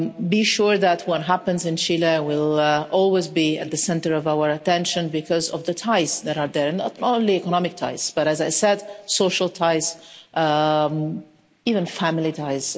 Be sure that what happens in Chile will always be at the centre of our attention because of the ties that are there not only economic ties, but as I said, social ties, even family ties.